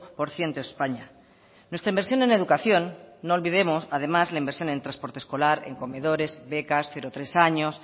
por ciento españa nuestra inversión en educación no olvidemos además la inversión en transporte escolar en comedores becas cero tres años